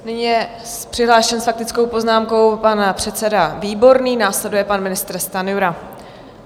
Nyní je přihlášen s faktickou poznámkou pan předseda Výborný, následuje pan ministr Stanjura.